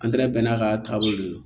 Antɛrɛ bɛɛ n'a ka taabolo de don